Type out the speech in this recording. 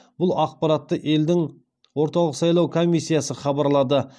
бұл ақпаратты елдің орталық сайлау комиссиясы хабарлады